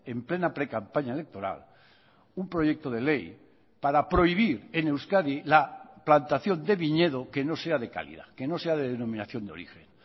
en plena precampaña electoral un proyecto de ley para prohibir en euskadi la plantación de viñedo que no sea de calidad que no sea de denominación de origen